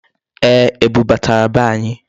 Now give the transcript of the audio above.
Ee, ebu batara be anyị.